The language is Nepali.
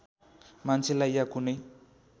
मान्छेलाई या कुनै